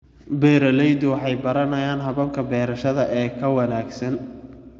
Beeraleydu waxay baranayaan hababka beerashada ee ka wanaagsan.